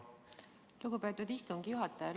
Lugupeetud istungi juhataja!